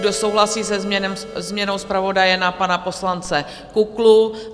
Kdo souhlasí se změnou zpravodaje na pana poslance Kuklu?